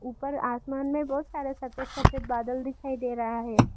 ऊपर आसमान में बहुत सारे सफेद सफेद बादल दिखाई दे रहा है।